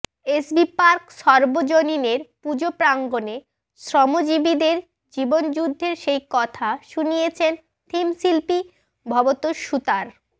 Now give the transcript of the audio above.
SB park সর্বজনীনের পুজোপ্রাঙ্গণে শ্রমজীবীদের জীবনযুদ্ধের সেই কথা শুনিয়েছেন থিমশিল্পী ভবতোষ সুতার